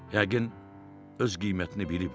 Yəqin öz qiymətini bilib də.